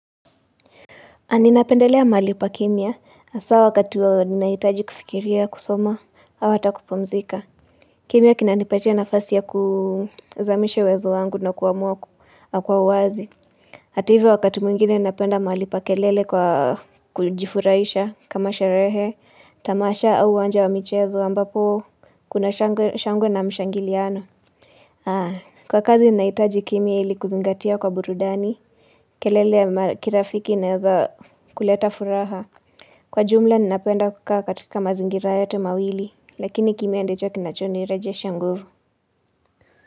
Ninapendelea mahali pakimya, haswa wakati wa, ninahitaji kufikiria kusoma, au hata kupumzika. Kimya kinanipatia nafasi ya kuzamisha uwezo wangu na kuamua kuwa kwa uwazi. Hata hivyo wakati mwingine ninapenda mahali pa kelele kwa kujifuraisha kama sherehe, tamasha au uwanja wa michezo ambapo kuna shangwe na mshangiliano. Kwa kazi ninahitaji kimya, ili kuzingatia kwa burudani, kelele ya kirafiki inaweza kuleta furaha, kwa ujumla ninapenda kukaa katika mazingira yote mawili, lakini kimya ndicho kinacho nirejesha nguvu.